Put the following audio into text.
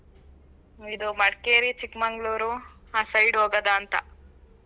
ಇದು Madikeri, Chikmagalur ಆ side ಹೋಗೋದಾ ಅಂತಾ.